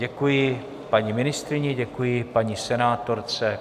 Děkuji paní ministryni, děkuji paní senátorce.